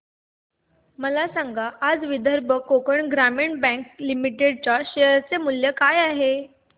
मला सांगा आज विदर्भ कोकण ग्रामीण बँक लिमिटेड च्या शेअर चे मूल्य काय आहे